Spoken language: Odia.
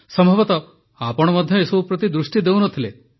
ସମ୍ଭବତଃ ଆପଣ ମଧ୍ୟ ଏସବୁ ପ୍ରତି ଦୃଷ୍ଟି ଦେଉନଥିଲେ